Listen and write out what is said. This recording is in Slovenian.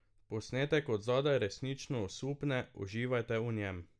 Posnetek od zadaj resnično osupne, uživajte v njem.